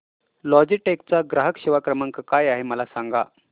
Logitech चा ग्राहक सेवा क्रमांक काय आहे मला सांगा